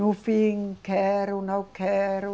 No fim, quero, não quero.